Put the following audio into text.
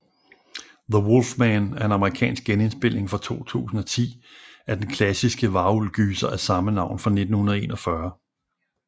The Wolfman er en amerikansk genindspilning fra 2010 af den klassiske varulv gyser af samme navn fra 1941